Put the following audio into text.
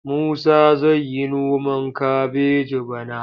Musa zai yi noman kabeji bana.